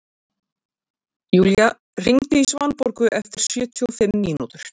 Julia, hringdu í Svanborgu eftir sjötíu og fimm mínútur.